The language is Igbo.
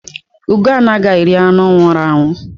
Ugó anaghị eri anụ nwụrụ anwụ